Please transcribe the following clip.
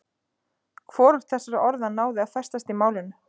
Hvorugt þessara orða náði að festast í málinu.